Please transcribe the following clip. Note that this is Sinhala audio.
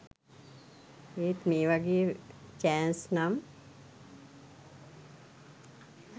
ඒත් මේ වගේ චෑන්ස් නම්